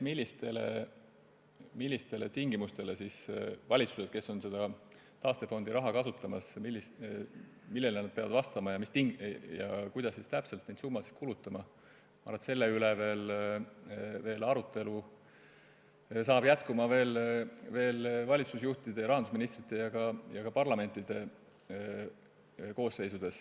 Selle üle, millistele tingimustele valitsused, kes soovivad taastefondi raha kasutada, peavad vastama ja kuidas täpselt neid summasid kulutama, arutelu veel jätkub nii valitsusjuhtide ja rahandusministritega kui ka parlamentides.